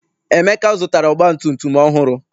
Emeka zụtara ọgbatumtum ọhụrụ.